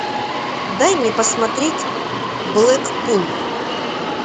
дай мне посмотреть блэкпул